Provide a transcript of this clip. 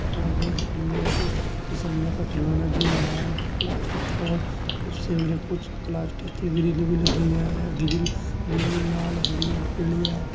फिसलने का खिलौना भी है। प्लास्टिक और उससे कुछ प्लास्टिक की ग्रिल भी लगी है। ग्रील नीली लाल हरी और पीली है।